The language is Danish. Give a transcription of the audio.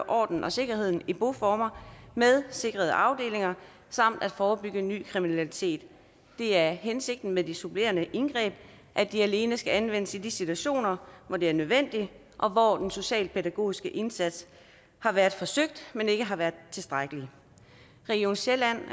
ordenen og sikkerheden i boformer med sikrede afdelinger samt at forebygge ny kriminalitet det er hensigten med de supplerende indgreb at de alene skal anvendes i de situationer hvor det er nødvendigt og hvor den socialpædagogiske indsats har været forsøgt men ikke har været tilstrækkelig region sjælland